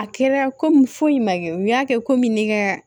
A kɛra komi foyi ma kɛ u y'a kɛ komi ni ka